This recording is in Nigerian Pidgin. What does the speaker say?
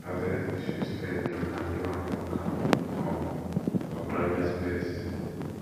address issues early and do am for calm um or private space